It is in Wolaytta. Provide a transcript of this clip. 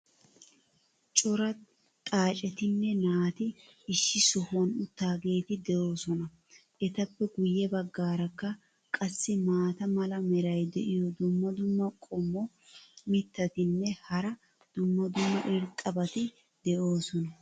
cora xaacettinne naati issi sohuwan uttidaageeti doosona. etappe guye bagaarakka qassi maata mala meray diyo dumma dumma qommo mitattinne hara dumma dumma irxxabati de'oosona.